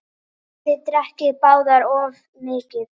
Þið drekkið báðir of mikið.